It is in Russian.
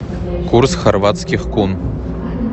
курс хорватских кун